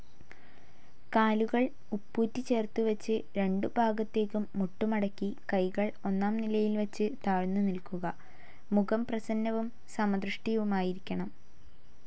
കാലുകൾ ഉപ്പൂറ്റിചേർത്തു വച്ച്, രണ്ടു ഭാഗത്തേക്കും മുട്ടുമടക്കി കൈകൾ ഒന്നാം നിലയിൽ വച്ച് താഴ്ന്നു നിൽക്കുക. മുഖം പ്രസന്നവും സമദൃഷ്ടിയുമായിരിക്കണം.